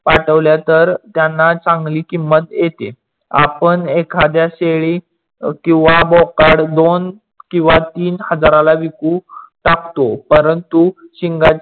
पाठवल्या तर त्यांना चांगली किंमत येते. आपण एखाद्या शेळी किवा बोकड दोन किवा तीन हजाराला विकून टाकतो. परंतु शिंगाचे